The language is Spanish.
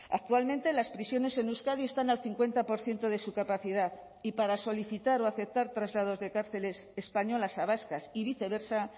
actualmente las prisiones en euskadi están al cincuenta por ciento de su capacidad y para solicitar o aceptar traslados de cárceles españolas a vascas y viceversa